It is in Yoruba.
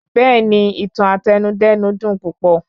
Bẹ́ẹ̀ni, Ìtàn Àtẹnudẹ́nu dùn púpọ̀